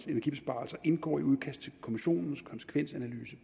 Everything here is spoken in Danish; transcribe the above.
energibesparelse indgår i et udkast til kommissionens konsekvensanalyse